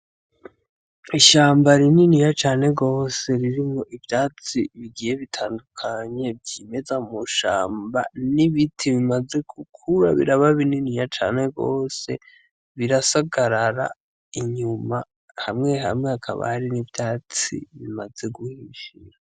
Ishamba rininiya cane gose ririmwo ivyatsi bigiye bitandukanye vyimeza mu shamba n'ibiti bimaze gukura biraba binini cane gose birasagarara inyuma hamwe hamwe hakaba hari n'ivyatsi bimaze guhishira.